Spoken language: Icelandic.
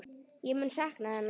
Ég mun sakna hennar.